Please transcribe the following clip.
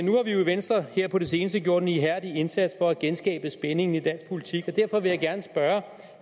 jo i venstre her på det seneste gjort en ihærdig indsats for at genskabe spændingen i dansk politik og derfor vil jeg gerne spørge